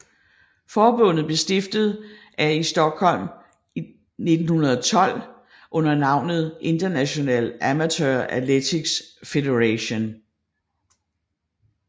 Forbundet blev stiftet af i Stockholm i 1912 under navnet International Amateur Athletics Federation